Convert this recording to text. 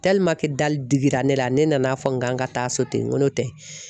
dali digira ne la ne nana fɔ n kan ka taa so ten n ko n'o tɛ